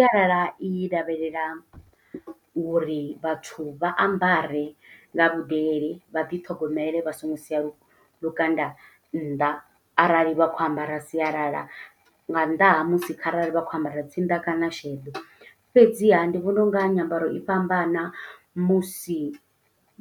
Sialala i lavhelela uri vhathu vha ambare nga vhudele, vha ḓi ṱhogomele, vha songo sia lukanda nnḓa, arali vha khou ambara sialala. Nga nnḓa ha musi kharali vha khou ambara tsinda kana sheḓo. Fhedziha ndi vhona u nga nyambaro i fhambana musi